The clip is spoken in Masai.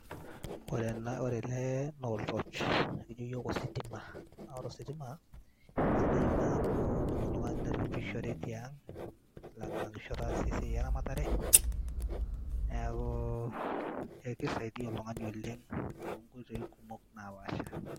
Ore ena ore ele naa ol torch, kekijo iyiok ositima naa ore ositima sidai oleng' amu indim oltung'ani niragishore tiang' ailang'lanisho aas esiai eramatare. Neeku kisaidia oltung'ani oleng' to nkoitoi kumok napaasha.